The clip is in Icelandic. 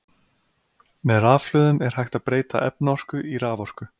með rafhlöðum er hægt að breyta efnaorku í raforku